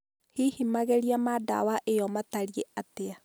Hihi magerio ma dawa ĩyo matariĩ atĩa